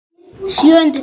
Sjöundi þáttur